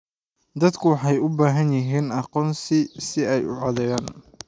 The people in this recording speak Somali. Dadku waxay u baahan yihiin aqoonsi si ay u codeeyaan.